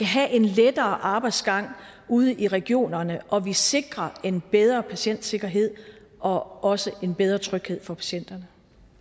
have en lettere arbejdsgang ude i regionerne og vi sikrer en bedre patientsikkerhed og også en bedre tryghed for patienterne